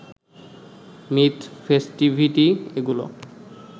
myth, festivity এগুলো